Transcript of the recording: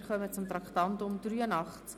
Wir kommen zum Traktandum 83: